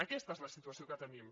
aquesta és la situació que tenim